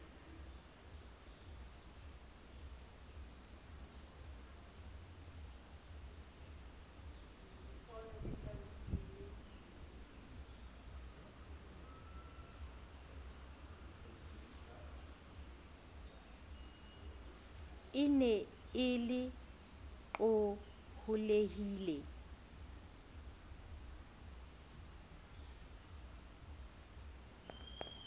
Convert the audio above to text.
e ne e le qohollehile